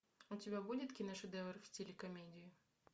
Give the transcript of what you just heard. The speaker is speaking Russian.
у тебя будет киношедевр в стиле комедии